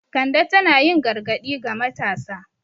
Kande tana yin gargadi ga matasa.